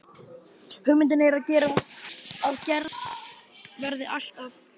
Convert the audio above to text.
Hugmyndin er að gerð verði allt að